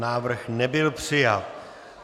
Návrh nebyl přijat.